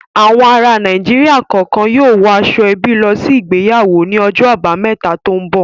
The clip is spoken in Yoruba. Àwọn ará Nàìjíríà kọ̀ọ̀kan yóò wọ aṣọ-ẹbí lọ sí ìgbéyàwó ní ọjọ́ àbámẹ́ta tó ń bọ̀.